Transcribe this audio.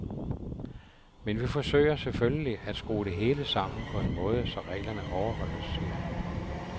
Men vi forsøger selvfølgelig, at skrue det hele sammen på en måde, så reglerne overholdes, siger han.